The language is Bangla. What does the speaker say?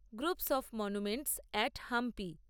groups of monuments at Hampi